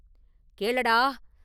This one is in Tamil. “கேளடா!